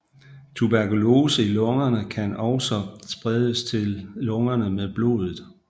Tuberkulose i lungerne kan også spredes til lungerne med blodet